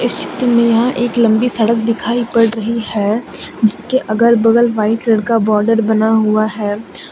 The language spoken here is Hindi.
चित्र में यहां एक लंबी सड़क दिखाई पड़ रही है जिसके अगल बगल व्हाइट कलर का बॉर्डर बना हुआ है।